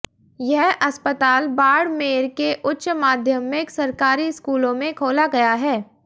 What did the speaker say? यह अस्पताल बाड़मेर के उच्च माध्यमिक सरकारी स्कूल में खोला गया है